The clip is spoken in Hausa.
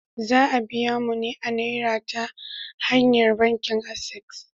Za a biya mu ne a Naira ta hanyar bankin Access.